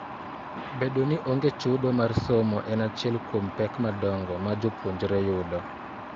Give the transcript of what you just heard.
Bedo ni onge chudo mar somo en achiel kuom pek madongo ma jopuonjre yudo.